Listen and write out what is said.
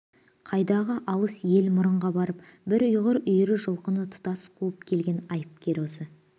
қайдағы алыс ел мұрынға барып бір айғыр үйірі жылқыны тұтас қуып келген айыпкер осы